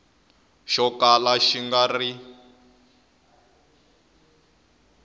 xo kala xi nga ri